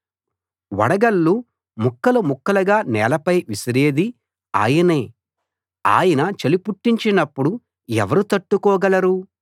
వడగళ్ళు ముక్కలు ముక్కలుగా నేలపై విసిరేది ఆయనే ఆయన చలి పుట్టించినప్పుడు ఎవరు తట్టుకోగలరు